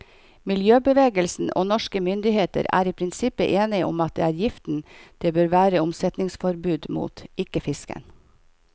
Miljøbevegelsen og norske myndigheter er i prinsippet enige om at det er giften det bør være omsetningsforbud mot, ikke fisken.